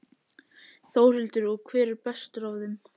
Þórhildur: Og hver er bestur af þeim?